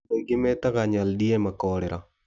Andũ aingĩ metaga Nyaldiema korera.